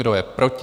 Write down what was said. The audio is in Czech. Kdo je proti?